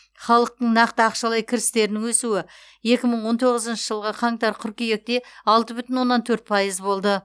халықтың нақты ақшалай кірістерінің өсуі екі мың он тоғызыншы жылғы қаңтар қыркүйекте алты бүтін оннан төрт пайыз болды